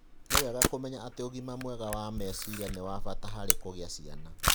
Nĩ wega kũmenya atĩ ũgima mwega wa meciria nĩ wa bata harĩ kũgĩa ciana.